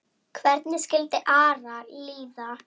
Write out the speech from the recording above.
Hvernig skildi Ara líða?